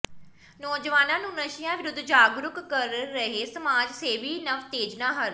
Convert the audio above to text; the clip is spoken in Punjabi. ਨੌਜਵਾਨਾਂ ਨੂੰ ਨਸ਼ਿਆਂ ਵਿਰੁੱਧ ਜਾਗਰੂਕ ਕਰ ਰਿਹੈ ਸਮਾਜ ਸੇਵੀ ਨਵਤੇਜ ਨਾਹਰ